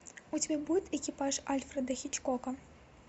у тебя будет экипаж альфреда хичкока